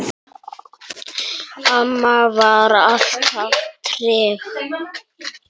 Amma var alltaf trygg.